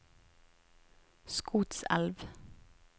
Skotselv